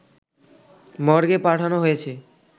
মর্গে পাঠানো হয়েছে।